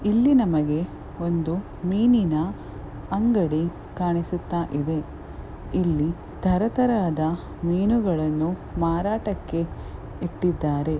ಇಲ್ಲಿ ನಮಗೆ ಒಂದು ಮೀನಿನ ಅಂಗಡಿ ಕಾಣಿಸುತ್ತಾ ಇದೆ ಇಲ್ಲಿ ತರ ತರಹದ ಮೀನುಗಳನ್ನು ಮಾರಾಟಕ್ಕೆ ಇಟ್ಟಿದ್ದಾರೆ .